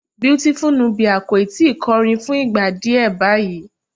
Beautiful Nubia kò ì tí ì kọrin fún ìgbà díẹ̀ báyìí.